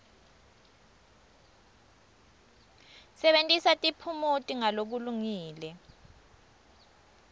sebentisa tiphumuti ngalokulungile